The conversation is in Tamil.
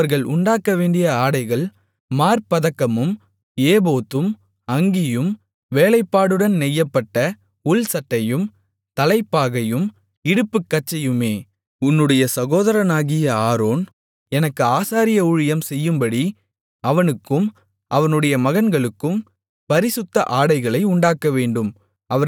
அவர்கள் உண்டாக்கவேண்டிய ஆடைகள் மார்ப்பதக்கமும் ஏபோத்தும் அங்கியும் வேலைப்பாடுடன் நெய்யப்பட்ட உள்சட்டையும் தலைப்பாகையும் இடுப்புக்கச்சையுமே உன்னுடைய சகோதரனாகிய ஆரோன் எனக்கு ஆசாரிய ஊழியம் செய்யும்படி அவனுக்கும் அவனுடைய மகன்களுக்கும் பரிசுத்த ஆடைகளை உண்டாக்கவேண்டும்